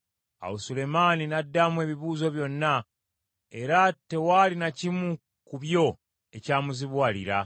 Awo Sulemaani n’addamu ebibuuzo byonna, era tewaali na kimu ku byo ekyamuzibuwalira.